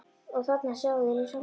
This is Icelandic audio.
Og þarna sjáið þið nú sjálfan